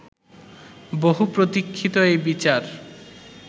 বহু প্রতীক্ষিত এই বিচার